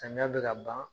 Samiya bɛ ka ban